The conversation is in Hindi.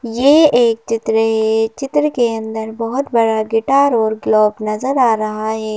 ये एक चित्र है चित्र के अंदर बहुत बड़ा गिटार और क्लॉक नजर आ रहा है।